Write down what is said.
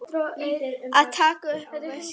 Að taka upp veskið.